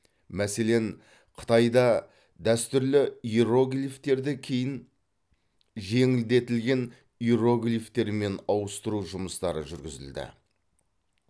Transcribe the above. мәселен қытайда дәстүрлі иероглифтерді кейін жеңілдетілген иероглифтермен ауыстыру жұмыстары жүргізілді